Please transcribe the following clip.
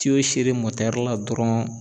tiyo serere mɔtɛrila dɔrɔn